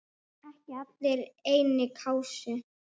Ekki allir í einni kássu!